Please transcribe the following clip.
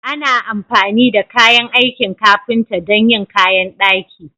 Ana amfani da kayan aikin ƙafinta don yin ƙayan daƙi.